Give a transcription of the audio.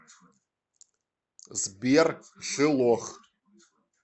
сбер шилох